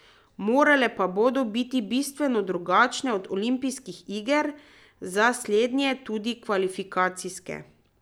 Morale pa bodo biti bistveno drugačne od olimpijskih iger, za slednje tudi kvalifikacijske.